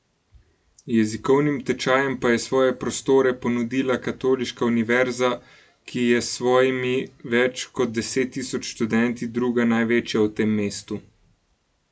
Jezikovnim tečajem pa je svoje prostore ponudila Katoliška univerza, ki je s svojimi več kot deset tisoč študenti druga največja v tem mestu.